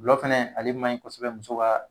Gulɔ fɛnɛ ale man ɲi kɔsɔbɛ muso ka